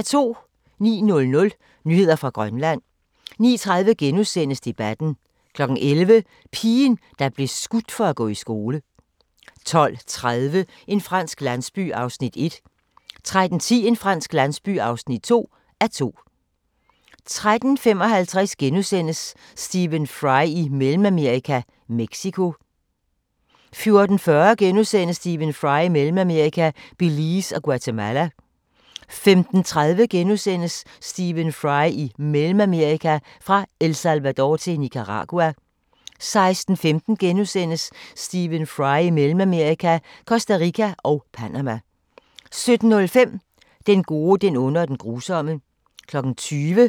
09:00: Nyheder fra Grønland 09:30: Debatten * 11:00: Pigen, der blev skudt for at gå i skole 12:30: En fransk landsby (1:2) 13:10: En fransk landsby (2:2) 13:55: Stephen Fry i Mellemamerika – Mexico * 14:40: Stephen Fry i Mellemamerika – Belize og Guatemala * 15:30: Stephen Fry i Mellemamerika – Fra El Salvador til Nicaragua * 16:15: Stephen Fry i Mellemamerika – Costa Rica og Panama * 17:05: Den gode, den onde og den grusomme